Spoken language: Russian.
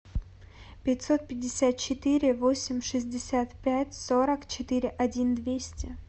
пятьсот пятьдесят четыре восемь шестьдесят пять сорок четыре один двести